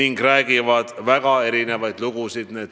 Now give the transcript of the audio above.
Ka räägivad need logod väga erinevaid lugusid.